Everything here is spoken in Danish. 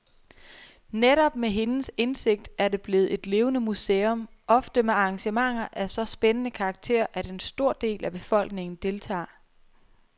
Netop med hendes indsigt er det blevet et levende museum, ofte med arrangementer af så spændende karakter, at en stor del af befolkningen deltager.